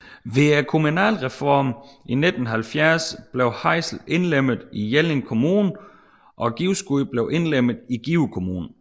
Ved kommunalreformen i 1970 blev Hvejsel indlemmet i Jelling Kommune og Givskud blev indlemmet i Give Kommune